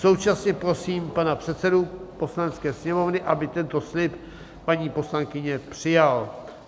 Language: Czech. Současně prosím pana předsedu Poslanecké sněmovny, aby tento slib paní poslankyně přijal.